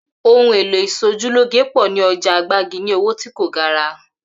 Ohun èlò ìs̩ojúlóge pò̩ ní o̩jà Gbági ní owó tí kò gara